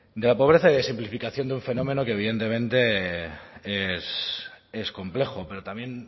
de la pobreza y de simplificación de un fenómeno que evidentemente es complejo pero también